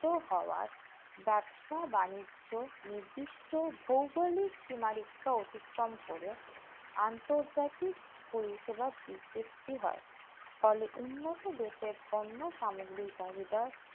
উন্নত হওয়া ব্যবসা-বাণিজ্য নির্দিষ্ট ভৌগোলিক সীমারেখা অতিক্রম করে আন্তর্জাতিক পরিষেবা বিশুপতি হয় ফলে উন্নত দেশে কর্ম সামগ্রী চাহিদার